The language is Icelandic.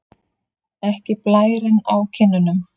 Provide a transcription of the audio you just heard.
Ekki blærinn á kinnunum.